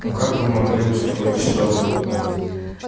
но как вы могли устроить чтобы